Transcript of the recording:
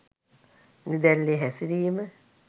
නිදැල්ලේ හැසිරීම